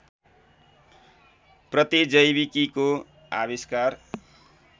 प्रतिजैविकीको आविष्कार